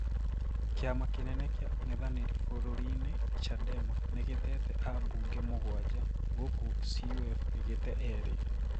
Kiama kenene kia ung'ethaniri bururiini, Chadema nigitete abuge mũgwanja, gũkũ CUF gigitee eri.